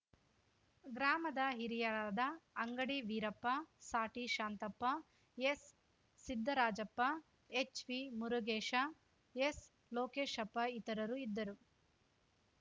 ಗ್ರಾಮದ ಹಿರಿಯರಾದ ಅಂಗಡಿ ವೀರಪ್ಪ ಸಾಟಿ ಶಾಂತಪ್ಪ ಎಸ್‌ಸಿದ್ದರಾಜಪ್ಪ ಎಚ್‌ವಿಮುರುಗೇಶ ಎಸ್‌ಲೋಕೇಶಪ್ಪ ಇತರರು ಇದ್ದರು